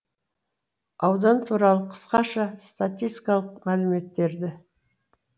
аудан туралы қысқаша статистикалық мәліметтері